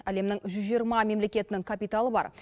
әлемнің жүз жиырма мемлекетінің капиталы бар